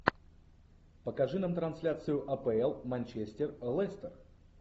покажи нам трансляцию апл манчестер лестер